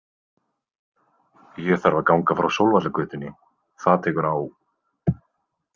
Ég þarf að ganga frá Sólvallagötunni, það tekur á.